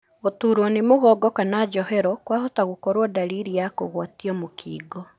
Gũturwo nĩ mũgongo kana njohero kwahota gũkorwo ndariri ya kũgwatio mũkingo.